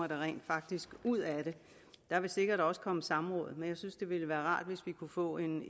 rent faktisk ud af det der vil sikkert også komme samråd men jeg synes det ville være rart hvis vi kunne få en